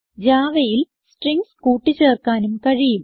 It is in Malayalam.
Javaയിൽ സ്ട്രിംഗ്സ് കൂട്ടി ചേർക്കാനും കഴിയും